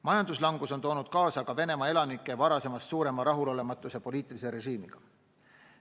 Majanduslangus on toonud kaasa ka Venemaa elanike varasemast suurema rahulolematuse poliitilise režiimiga.